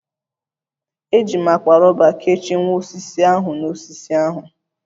Eji m akpa rọba kechie nwa osisi ahu n'osisi osisi ahụ